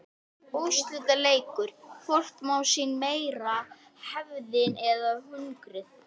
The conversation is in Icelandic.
Úrslitaleikur: Hvort má sín meira hefðin eða hungrið?